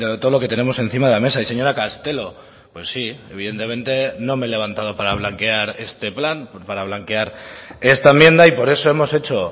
todo lo que tenemos encima de la mesa y señora castelo pues sí evidentemente no me he levantado para blanquear este plan para blanquear esta enmienda y por eso hemos hecho